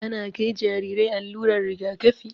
Ana kai Jarirai allurar rigakafi